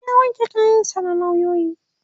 ya wanke kayan sa na lauyoyi